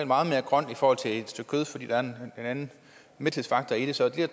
meget mere grønt i forhold til et stykke kød fordi der er en anden mæthedsfaktor i det så er det